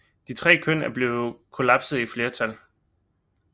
De tre køn er blevet kollapset i flertal